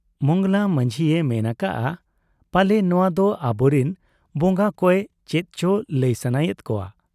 ᱢᱚᱸᱜᱽᱞᱟ ᱢᱟᱹᱡᱷᱤᱭᱮ ᱢᱮᱱ ᱟᱠᱟᱜ ᱟ , ᱯᱟᱞᱮ ᱱᱚᱣᱟ ᱫᱚ ᱟᱵᱚᱨᱤᱱ ᱵᱚᱝᱜᱟ ᱠᱚᱭᱮ ᱪᱮᱫ ᱪᱚ ᱞᱟᱹᱭ ᱥᱟᱱᱟᱭᱮᱫ ᱠᱚᱣᱟ ᱾